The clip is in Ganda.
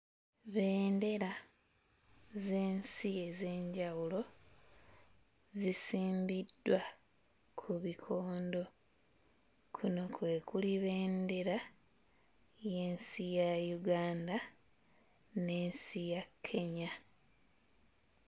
Bendera z'ensi ez'enjawulo zisimbiddwa ku bikondo. Kuno kwe kuli bendera y'ensi ya Uganda, n'ensi ya Kenya.